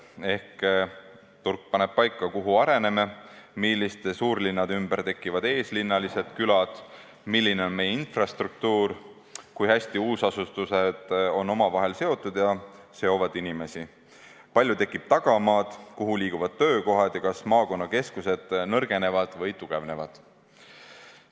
Ehk siis turg paneb paika, kuhu areneme, milliste suurlinnade ümber tekivad eeslinnalised külad, milline on meie infrastruktuur, kui hästi uusasustuspiirkonnad on omavahel seotud ja seovad inimesi, kui palju tekib tagamaad, kuhu liiguvad töökohad ja kas maakonnakeskused nõrgenevad või tugevnevad.